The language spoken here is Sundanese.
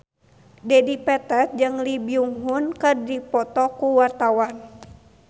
Dedi Petet jeung Lee Byung Hun keur dipoto ku wartawan